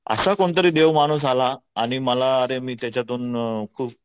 असा कोणतरी देव माणूस आला आणि मला मी त्याच्यातून